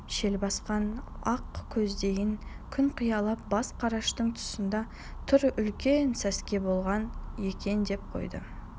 шел басқан ақ көздейін күн қиялап бас қараштың тұсында тұр үлкен сәске болған екен деп қойды